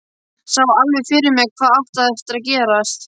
Sá alveg fyrir mér hvað átti eftir að gerast.